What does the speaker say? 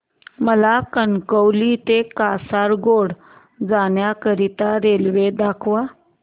मला कणकवली ते कासारगोड जाण्या करीता रेल्वे दाखवा